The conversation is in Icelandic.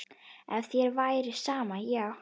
Ef þér væri sama, já.